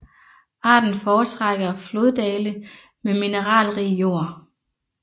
Arten foretrækker floddale med mineralrig jord